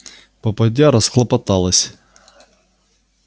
попадья расхлопоталась